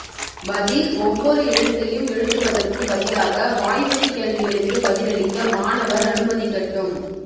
பதில் ஒவ்வொரு எழுத்தையும் எழுதுவதற்கு பதிலாக வாய்வழி கேள்விகளுக்கு பதிலளிக்க மாணவர் அனுமதிக்கட்டும்